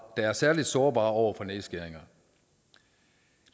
er særlig sårbare over for nedskæringer